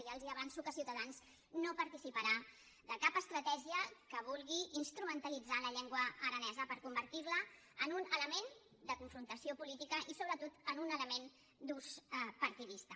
i ja els avanço que ciutadans no participarà de cap estratègia que vulgui instrumentalitzar la llengua aranesa per convertir la en un element de confrontació política i sobretot en un element d’ús partidista